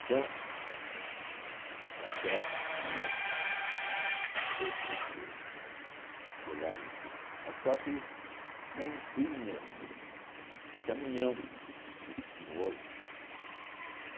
Então, o café ia para o para o para o para o levava-se... Mas só que não tinha caminhão como hoje.